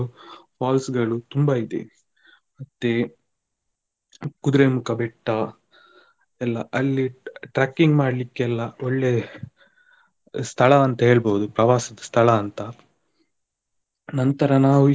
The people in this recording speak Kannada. Falls ಗಳು ತುಂಬ ಇದೆ ಮತ್ತೆ Kudremukha ಬೆಟ್ಟ ಎಲ್ಲ ಅಲ್ಲಿ ta~ trekking ಮಾಡ್ಲಿಕ್ಕೆ ಎಲ್ಲ ಒಳ್ಳೆ ಸ್ಥಳ ಅಂತ ಹೇಳ್ಬೋದು ಪ್ರವಾಸದ ಸ್ಥಳ ಅಂತ ನಂತರ ನಾವು.